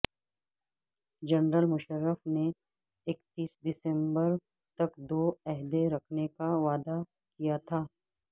general Musharraf نے اکتیس December تک دو عہدے رکھنے کا وعدہ کیا تھا